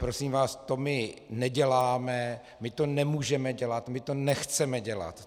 Prosím vás, to my neděláme, my to nemůžeme dělat, my to nechceme dělat.